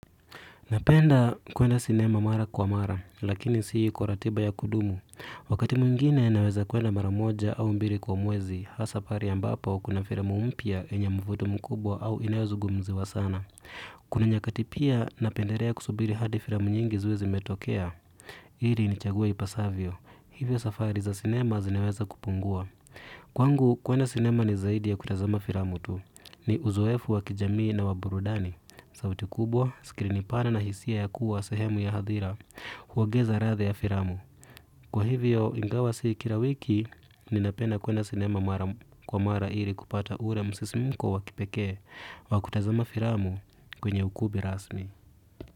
Napenda kuenda sinema mara kwa mara, lakini si kwa ratiba ya kudumu. Wakati mwingine naweza kuenda mara moja au mbili kwa mwezi, hasa pale ambapo kuna filamu mpya yenye mvuto mkubwa au inayo zungumziwa sana. Kuna nyakati pia napendelea kusubiri hadi filamu nyingi ziwe zimetokea. Ilii nichague ipasavyo. Hivyo safari za sinema zineweza kupungua. Kwangu kuenda sinema ni zaidi ya kutazama filamu tu. Ni uzoefu wa kijamii na wa burudani. Sauti kubwa, sikirini pana na hisia ya kuwa sehemu ya hadhira huongeza ladha ya filamu. Kwa hivyo, ingawa si kila wiki ninapena kuenda sinema kwa mara ili kupata ule msisimuko wa kipekee au kutazama filamu kwenye ukubi rasmi.